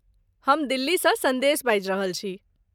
हम दिल्लीसँ सन्देश बाजि रहल छी।